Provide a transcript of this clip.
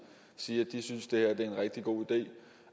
sige at de synes det er en rigtig god idé